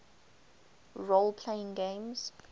role playing games